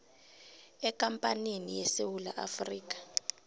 ekampanini yesewula afrika